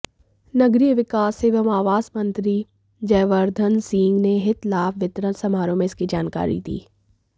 नगरीय विकास एवं आवास मंत्री जयवर्धनसिंह ने हित लाभ वितरण समारोह में इसकी जानकारी दी